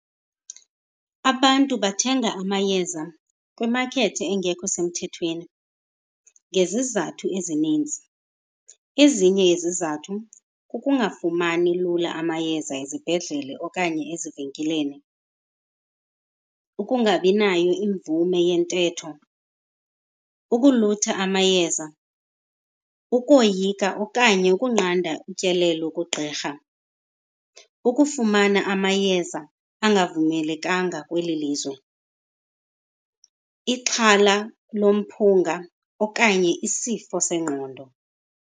Abantu bathenga amayeza kwimakethi engekho semthethweni ngezizathu ezininzi. Ezinye yezizathu kukungafumani lula amayeza ezibhedlele okanye ezivenkileni, ukungabi nayo imvume yentetho, ukulutha amayeza, ukoyika okanye ukunqanda utyelelo kugqirha, ukufumana amayeza angavumelekanga kweli lizwe, ixhala lomphunga okanye isifo sengqondo.